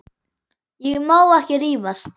Ég má ekki rífast.